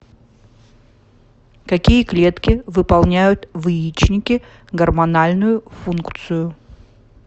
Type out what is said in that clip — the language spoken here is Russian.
какие клетки выполняют в яичнике гормональную функцию